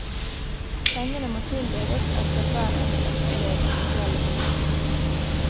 Pengene må tildeles etter hver enkelt elevs spesielle behov.